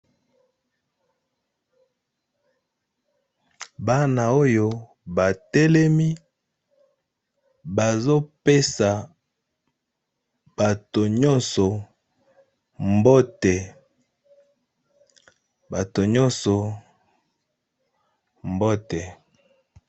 Bana oyo batelemi bazo pesa bato nyonso mbote.